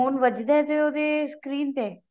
ਵੱਜਦਾ ਏ ਉਹਦੇ screen ਤੇ